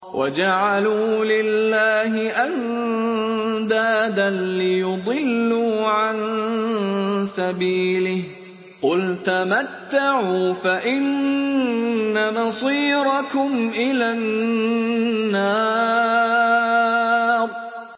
وَجَعَلُوا لِلَّهِ أَندَادًا لِّيُضِلُّوا عَن سَبِيلِهِ ۗ قُلْ تَمَتَّعُوا فَإِنَّ مَصِيرَكُمْ إِلَى النَّارِ